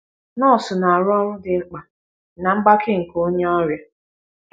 Nọọsụ na - arụ ọrụ dị mkpa ná mgbake nke onye ọrịa.